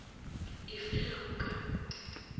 e fe ge go ka